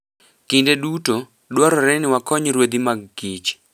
Kinde duto, dwarore ni wakony ruedhi mag kich.